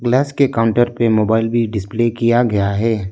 कांच के काउंटर पे मोबाइल भी डिस्प्ले किया गया है।